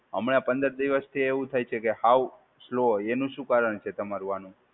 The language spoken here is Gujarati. હમણાં પંદર દિવસથી એવું થાય છે કે હાવ સ્લો હોય, એનું શું કારણ છે તમારું આનું?